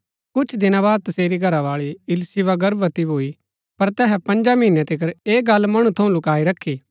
कुछ दिना बाद तसेरी घरावाळी इलीशिबा गर्भवती भूई पर तैहै पँजा महीनै तिकर ऐह गल्ल मणु थऊँ लुक्‍काई रखी